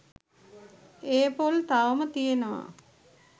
ඒ පොල් තවම තියෙනවා